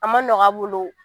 An ma nɔgɔ a bolo